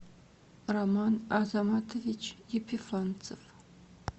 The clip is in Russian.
роман азаматович епифанцев